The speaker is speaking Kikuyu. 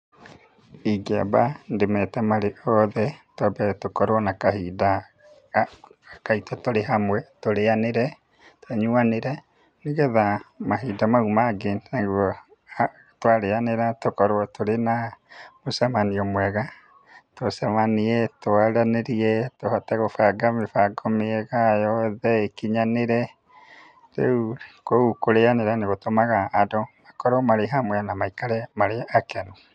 Ingiamba ndĩmete marĩ othe, twambe tũkorũo na kahinda, ga, gaitũ tũrĩ hamwe, tũrĩanĩre, tũnyuanĩre, nĩgetha mahinda mau mangĩ nĩguo twarĩanĩra tũkorũo tũrĩ na, mũcemanio mwega, tũcemanie, twaranĩrie, tũhote gũbanga mĩbango mĩega yothe, ĩkinyanĩre, rĩu kũu, kũrĩanĩra nĩgũtũmaga andũ makorũo marĩ hamwe na maikare marĩ akenu.